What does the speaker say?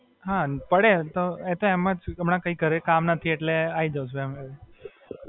હાં પડે, એ તો એમ જ હમણાં ઘરે કી કામ નથી એટલે આઈ જુ છું એવું એમ એટલે.